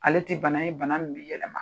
Ale ti bana ye bana min bi yɛlɛma.